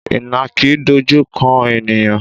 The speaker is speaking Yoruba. Ìnàkí dojú kan ènìyàn?